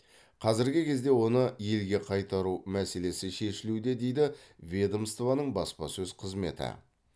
қазіргі кезде оны елге қайтару мәселесі шешілуде дейді ведомствоның баспасөз қызметі